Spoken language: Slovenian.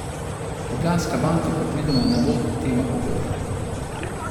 Ljubljanska banka predvidoma ne bo tema pogovorov.